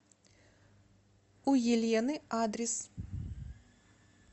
у елены адрес